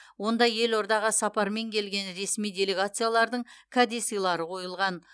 онда елордаға сапармен келген ресми делегациялардың кәдесыйлары қойылған